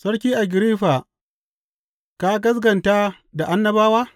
Sarki Agiriffa ka gaskata da annabawa?